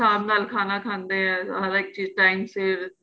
ਬੜੇ ਹਿਸਾਬ ਨਾਲ ਖਾਂਦੇ ਏ ਹਰੇਕ ਚੀਜ਼ time ਸਿਰ